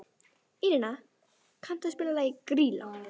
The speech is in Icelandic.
Írena, kanntu að spila lagið „Grýla“?